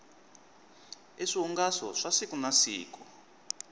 i swihungaso swa siku na siku